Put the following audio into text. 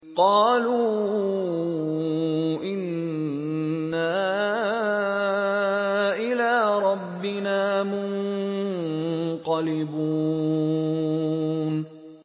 قَالُوا إِنَّا إِلَىٰ رَبِّنَا مُنقَلِبُونَ